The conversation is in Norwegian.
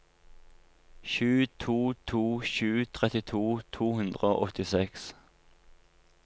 sju to to sju trettito to hundre og åttiseks